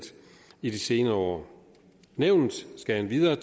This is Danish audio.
i de senere år nævnet skal endvidere